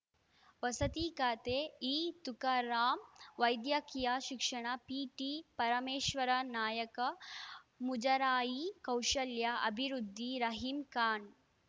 ವಸತಿ ಖಾತೆ ಇ ತುಕಾರಾಂ ವೈದ್ಯಕೀಯ ಶಿಕ್ಷಣ ಪಿಟಿ ಪರಮೇಶ್ವರ ನಾಯಾಕ ಮುಜರಾಯಿ ಕೌಶಲ್ಯ ಅಭಿವೃದ್ಧಿ ರಹೀಂ ಖಾನ್‌